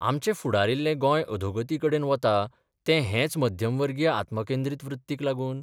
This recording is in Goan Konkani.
आमचें फुडारिल्ले गोंय अधोगती कडेन वता तें हेच मध्यमवर्गीय आत्मकेंद्रीत वृत्तीक लागून?